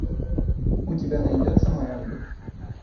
у тебя найдется мой ангел